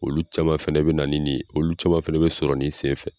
Olu caman fɛnɛ bɛ na ni nin ye olu caman fɛnɛ bɛ sɔrɔ nin senfɛ.